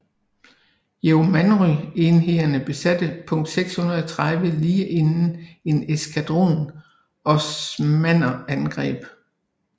Yeomanry enhederne besatte punkt 630 lige inden en eskadron osmanner angreb